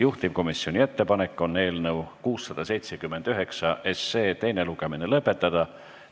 Juhtivkomisjoni ettepanek on eelnõu 679 teine lugemine lõpetada.